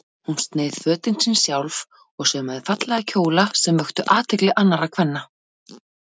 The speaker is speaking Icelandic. Hún sneið fötin sín sjálf og saumaði fallega kjóla sem vöktu athygli annarra kvenna.